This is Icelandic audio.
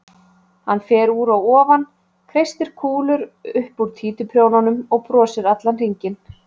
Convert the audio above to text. Hann fer úr að ofan, kreistir kúlur upp úr títuprjónunum og brosir hringinn.